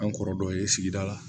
An kɔrɔ dɔ ye sigida la